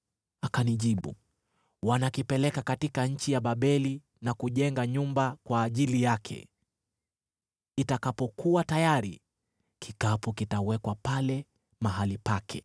Akanijibu, “Wanakipeleka katika nchi ya Babeli na kujenga nyumba kwa ajili yake. Itakapokuwa tayari, kikapu kitawekwa pale mahali pake.”